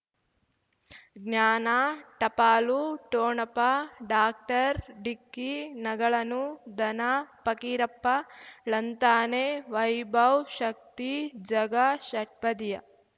ಜ್ಞಾನ ಟಪಾಲು ಠೊಣಪ ಡಾಕ್ಟರ್ ಢಿಕ್ಕಿ ಣಗಳನು ಧನ ಫಕೀರಪ್ಪ ಳಂತಾನೆ ವೈಭವ್ ಶಕ್ತಿ ಝಗಾ ಷಟ್ಪದಿಯ